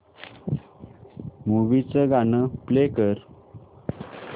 movie चं गाणं play कर